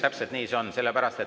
Jah, täpselt nii see on.